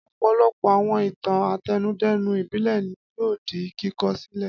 Ọ̀pọ̀lọpọ̀ àwọn ìtàn àtẹnudẹ́nu ìbílẹ̀ ni yóò di kíkọ́ sílẹ̀.